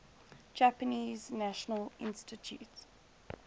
japanese national institute